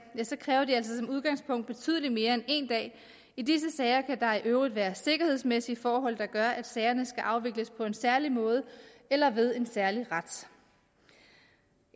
ja så kræver de altså som udgangspunkt betydelig mere end en dag i disse sager kan der i øvrigt være sikkerhedsmæssige forhold der gør at sagerne skal afvikles på en særlig måde eller ved en særlig ret